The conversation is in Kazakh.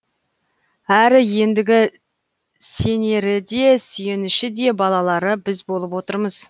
әрі ендігі сенеріде сүйеніші де балалары біз болып отырмыз